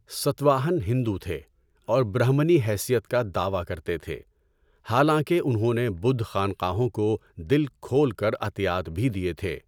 ستواہن ہندو تھے اور برہمنی حیثیت کا دعویٰ کرتے تھے، حالانکہ انہوں نے بدھ خانقاہوں کو دل کھول کر عطیات بھی دیے تھے۔